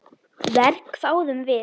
Verr, hváðum við.